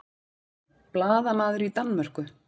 Blaðamaður í Danmörku